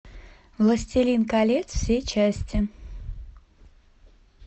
властелин колец все части